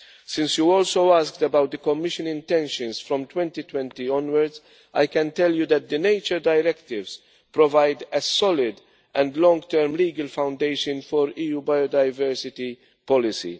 Since you also asked about the Commission's intentions from 2020 onwards, I can tell you that the nature Directives provide a solid and long term legal foundation for EU biodiversity policy.